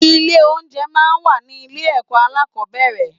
Ilé oúnjẹ máa ń wà ní ilé ẹ̀kọ́ alákọ̀ọ́bẹ̀rẹ̀.